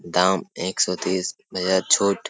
दाम एक सौ तीस बेहद छूट --